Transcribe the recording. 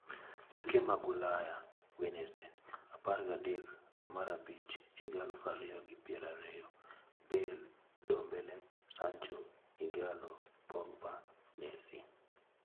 Tuke mag Ulaya Wednesday apar gi adek dwe mar abich higa aluf ariyo gi pier ariyo: Bale, Ndombele, Sancho, Ighalo, Pogba, Messi